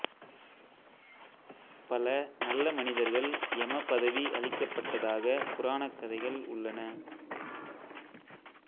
பல நல்ல மனிதர்கள் யம பதவி அளிக்கப்பட்டதாக புராணக்கதைகள் உள்ளன